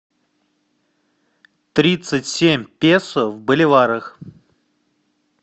тридцать семь песо в боливарах